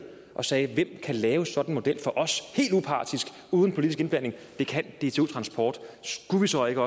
og sagde hvem kan lave sådan en model for os helt upartisk uden politisk indblanding det kan dtu transport skulle vi så ikke